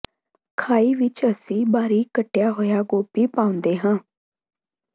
ਖਾਈ ਵਿਚ ਅਸੀਂ ਬਾਰੀਕ ਕੱਟਿਆ ਹੋਇਆ ਗੋਭੀ ਪਾਉਂਦੇ ਹਾਂ